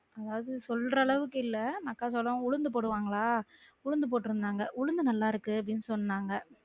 அதாவது சொல்ற அளவுக்கு இல்ல மக்காச்சோளம் உளுந்து போடுவாங்கலா உளுந்து போட்டுருந்தாங்க உளுந்து நல்லா இருக்கு அப்டின்னு சொன்னாங்க